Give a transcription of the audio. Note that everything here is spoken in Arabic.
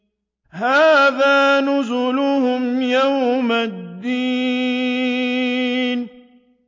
هَٰذَا نُزُلُهُمْ يَوْمَ الدِّينِ